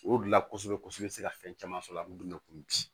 O de la kosɛbɛ kosɛbɛ i be se ka fɛn caman sɔrɔ a bi komi bi